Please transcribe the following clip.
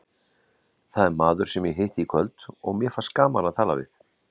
Það er maður sem ég hitti í kvöld og mér fannst gaman að tala við.